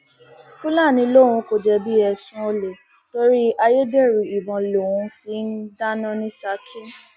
fúlàní lòun kò jẹbi ẹsùn olè torí ayédèrú ìbọn lòún fi ń dáná ní ṣákì